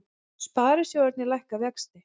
Sparisjóðirnir lækka vexti